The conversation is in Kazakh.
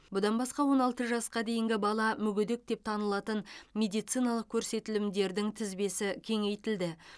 бұдан басқа он алты жасқа дейінгі бала мүгедек деп танылатын медициналық көрсетілімдердің тізбесі кеңейтілді